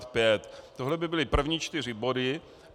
Tohle by byly první čtyři body.